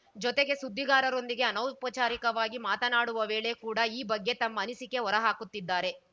ಜೊತೆಗೆ ಸುದ್ದಿಗಾರರೊಂದಿಗೆ ಅನೌಪಚಾರಿಕವಾಗಿ ಮಾತನಾಡುವ ವೇಳೆ ಕೂಡ ಈ ಬಗ್ಗೆ ತಮ್ಮ ಅನಿಸಿಕೆ ಹೊರಹಾಕುತ್ತಿದ್ದಾರೆ